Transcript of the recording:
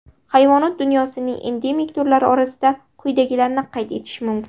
Hayvonot dunyosining endemik turlari orasida quyidagilarni qayd etish mumkin.